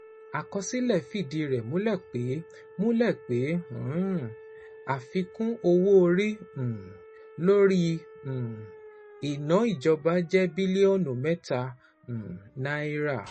Àkọsílẹ̀ fìdí rẹ̀ múlẹ̀ pé múlẹ̀ pé àfikún owó orí um lórí um iná ìjọba jẹ́ bílíọ̀nù mẹ́ta um náírà.